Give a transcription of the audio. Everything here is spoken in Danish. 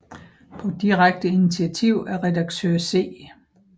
På direkte initiativ af Redaktør C